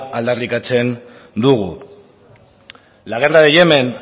aldarrikatzen dugu la guerra de yemen